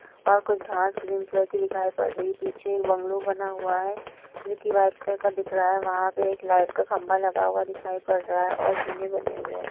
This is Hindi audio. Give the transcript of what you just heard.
और कुछ घास ग्रीन कलर की दिखाई पड़ रही है पीछे एक बंगलो बना हुआ है जो कि व्हाइट कलर का दिख रहा है वहां पे एक लाइट का खंभा लगा हुआ दिखाई पड़ रहा है और झूले बने हुए है।